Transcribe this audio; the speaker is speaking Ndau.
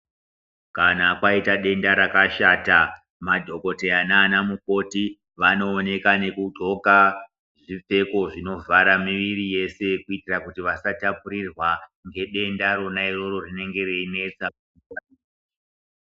Kana paita denda rakashata madhokoteya nanamukoti vanooneka nekunxoka zvipfeko zvinovhara miviri yese kuitira kuti vasatapurirwa ngedenda rona iroro rinenge reinetsa.